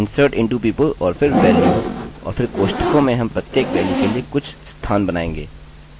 insert into people और फिर values और फिर कोष्ठकों में हम प्रत्येक वेल्यू के लिए कुछ स्थान बनाएँगे